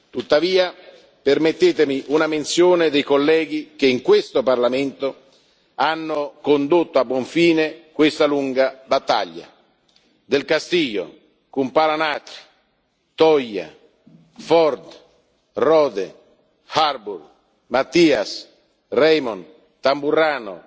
Tuttavia, permettetemi una menzione dei colleghi che in questo Parlamento hanno condotto a buon fine questa lunga battaglia del Castillo, Kumpula Natri, Toia, Ford, Rohde, Harbour, Matias, Reimon, Tamburrano,